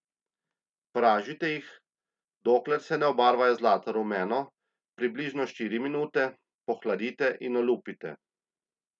Pražite jih, dokler se ne obarvajo zlato rumeno, približno štiri minute, pohladite in olupite.